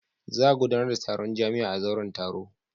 Za a gudanar da taron jami'a a zauren taro.